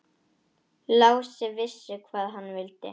Lási vissi hvað hann vildi.